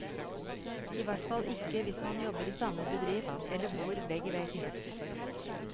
I hvert fall ikke hvis man jobber i samme bedrift eller bor vegg i vegg.